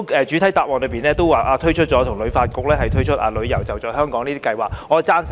主體答覆提到政府跟旅發局推出的"旅遊.就在香港"計劃，我是贊成的。